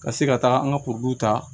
Ka se ka taa an ka ta